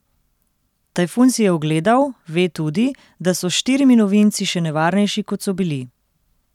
Tajfun si je ogledal, ve tudi, da so s štirimi novinci še nevarnejši, kot so bili.